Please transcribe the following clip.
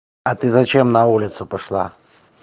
а ты зачем на улицу пошла